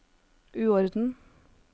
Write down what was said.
uorden